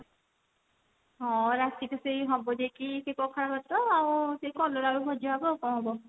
ହଁ ରାତିକି ସେଇ ହବ ଯାଇକି ସେଇ ପଖାଳଭାତ ଆଉ ସେଇ କଲରା ଆଳୁ ଭଜା ହେବ ଆଉ କଣ ହବ